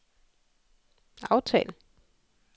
aftal